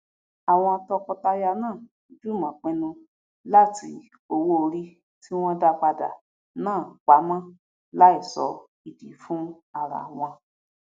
àwọn tọkọtaya náà jùmọ pinnu láti owóorí tí wọn dápadà náà pamọn láìso ìdí fún arawọn